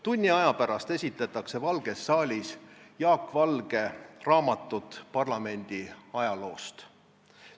Tunni aja pärast esitletakse valges saalis Jaak Valge raamatut parlamendi ajaloost.